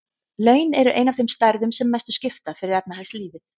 Laun eru ein af þeim stærðum sem mestu skipta fyrir efnahagslífið.